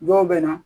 Dɔw bɛ na